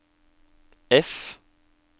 F